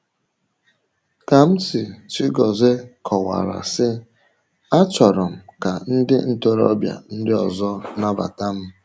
Kamsi Chigozie kọwara sị: “Achọrọ m ka ndị ntorobịa ndị ọzọ nabata m.”